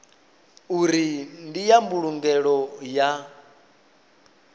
uri ndi ya mbulungelo ya